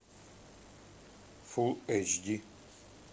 фул эйч ди